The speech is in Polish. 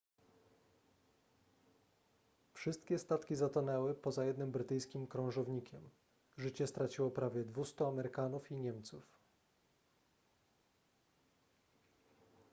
wszystkie statki zatonęły poza jednym brytyjskim krążownikiem życie straciło prawie 200 amerykanów i niemców